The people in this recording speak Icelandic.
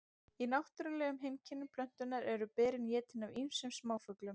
í náttúrulegum heimkynnum plöntunnar eru berin étin af ýmsum smáfuglum